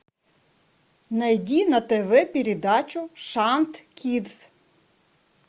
найди на тв передачу шант кидс